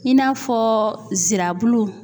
I n'a fɔ nsirabulu.